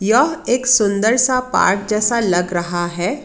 यह एक सुंदर सा पार्क जैसा लग रहा है।